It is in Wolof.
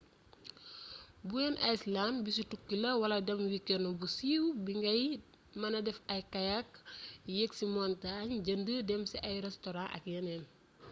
bowen island bisu tukki la wala dem wikenu bu siiw bi ngay mëna defee ay kayak yeek ci montaañ jënd dem ci ay restoran ak yeneen